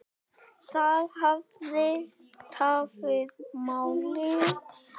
Það hafi tafið málið.